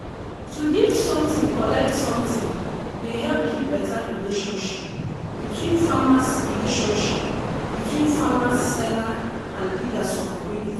to give something collect something dey help keep beta relationship between farmers relationship between farmers seller and leaders for community.